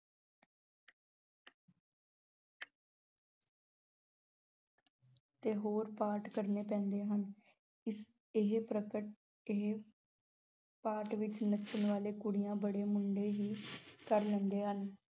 ਤੇ ਹੋਰ ਪਾਰਟ ਕਰਨੇ ਪੈਂਦੇ ਹਨ, ਇਸ ਇਹ ਇਹ ਪਾਰਟ ਵਿੱਚ ਨੱਚਣ ਵਾਲੇ ਕੁੜੀਆਂ ਬਣੇ ਮੁੰਡੇ ਹੀ ਕਰ ਲੈਂਦੇ ਹਨ।